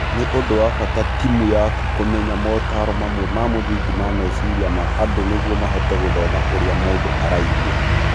Nĩ ũndũ wa bata timu yaku kumenya motaaro mamwe ma mũthingi ma meciria ma andũ nĩguo mahote gũthoma ũrĩa mũndũ araigua.